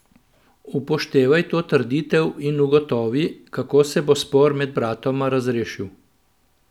Upoštevaj to trditev in ugotovi, kako se bo spor med bratoma razrešil.